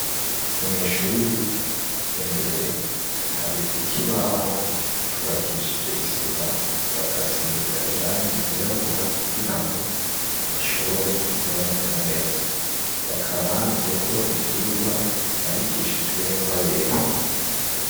Mw'ishuri, imbere hari ikibaho cubakishije isima, bagasiga irangi ryirabura kugira ngo ishobore kuboneka neza, hakaba handitseko ivyigwa vyandikishijwe n'ingwa yera.